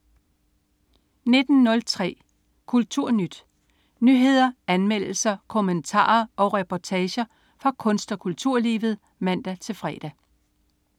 19.03 KulturNyt. Nyheder, anmeldelser, kommentarer og reportager fra kunst- og kulturlivet (man-fre)